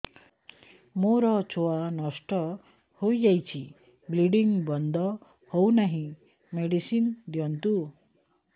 ମୋର ଛୁଆ ନଷ୍ଟ ହୋଇଯାଇଛି ବ୍ଲିଡ଼ିଙ୍ଗ ବନ୍ଦ ହଉନାହିଁ ମେଡିସିନ ଦିଅନ୍ତୁ